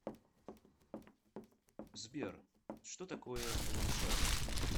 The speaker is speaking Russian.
сбер что такое ломжа